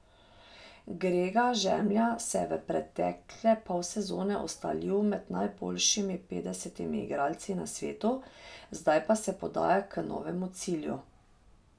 Grega Žemlja se je v pretekle pol sezone ustalil med najboljšimi petdesetimi igralci na svetu, zdaj pa se podaja k novemu cilju.